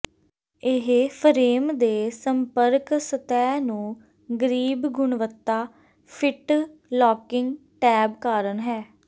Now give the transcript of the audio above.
ਇਹ ਫਰੇਮ ਦੇ ਸੰਪਰਕ ਸਤਹ ਨੂੰ ਗਰੀਬ ਗੁਣਵੱਤਾ ਫਿੱਟ ਲਾਕਿੰਗ ਟੈਬ ਕਾਰਨ ਹੈ